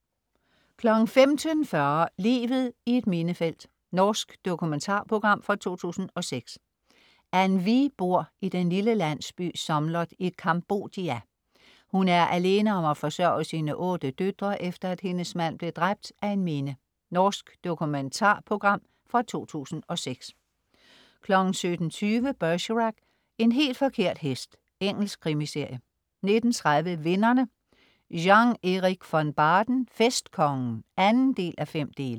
15.40 Livet i et minefelt. Norsk dokumentarprogram fra 2006. An Vi bor i den lille landsby Somloth i Cambodia. Hun er alene om at forsørge sine otte døtre efter, at hendes mand blev dræbt af en Mine. Norsk dokumentarprogram fra 2006 17.20 Bergerac: En helt forkert hest. Engelsk krimiserie 19.30 Vinderne. Jean Eric Von Baden "Festkongen" 2:5